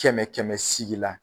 Kɛmɛ kɛmɛ sigi la